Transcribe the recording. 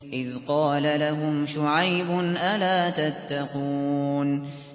إِذْ قَالَ لَهُمْ شُعَيْبٌ أَلَا تَتَّقُونَ